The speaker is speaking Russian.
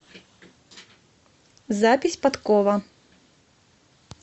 запись подкова